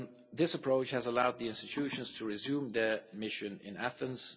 This approach has allowed the institutions to resume their mission in Athens.